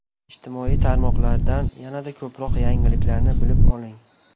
Ijtimoiy tarmoqlardan yanada ko‘proq yangiliklarni bilib oling.